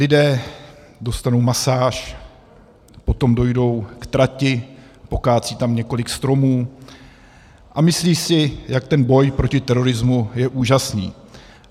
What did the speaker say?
Lidé dostanou masáž, potom dojdou k trati, pokácejí tam několik stromů a myslí si, jak ten boj proti terorismu je úžasný.